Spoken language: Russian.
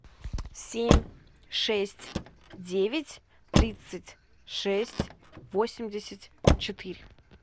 семь шесть девять тридцать шесть восемьдесят четыре